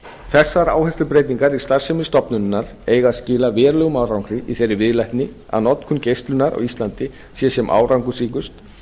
þessar áherslubreytingar í starfsemi stofnunarinnar eiga að skila verulegum árangri í þeirri viðleitni að notkun geislunar á íslandi sé sem árangursríkust